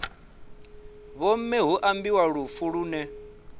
vhomme hu ambiwa lufu lune